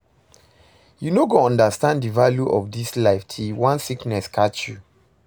You no go understand the value of dis life till one sickness catch you